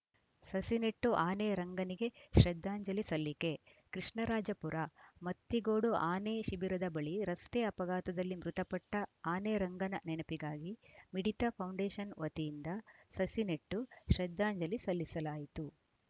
ಸಸಿ ನೆಟ್ಟು ಆನೆ ರಂಗನಿಗೆ ಶ್ರದ್ಧಾಂಜಲಿ ಸಲ್ಲಿಕೆ ಕೃಷ್ಣರಾಜಪುರ ಮತ್ತಿಗೋಡು ಆನೆ ಶಿಬಿರದ ಬಳಿ ರಸ್ತೆ ಅಪಘಾತದಲ್ಲಿ ಮೃತಪಟ್ಟಆನೆ ರಂಗನ ನೆನಪಿಗಾಗಿ ಮಿಡಿತ ಫೌಂಡೇಷನ್‌ ವತಿಯಿಂದ ಸಸಿ ನೆಟ್ಟು ಶ್ರದ್ಧಾಂಜಲಿ ಸಲ್ಲಿಸಲಾಯಿತು